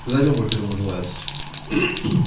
сказать вам как это называется